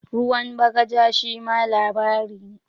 "Ruwan bagaja" shima labari ne.